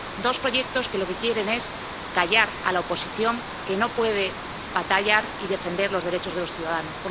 Dos proyectos que lo que quieren es callar a la oposición, que no puede batallar y defender los derechos de los ciudadanos.